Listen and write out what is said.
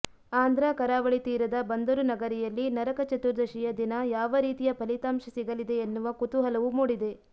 ಆಂಧ್ರ ಕರಾವಳಿ ತೀರದ ಬಂದರು ನಗರಿಯಲ್ಲಿ ನರಕ ಚತುರ್ದಶಿಯ ದಿನ ಯಾವ ರೀತಿಯ ಫಲಿತಾಂಶ ಸಿಗಲಿದೆ ಎನ್ನುವ ಕುತೂಹಲವೂ ಮೂಡಿದೆ